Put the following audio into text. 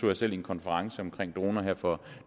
jeg selv i en konference om droner her for